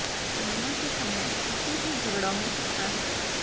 संध्या के समय किसी से झगड़ा हो सकता है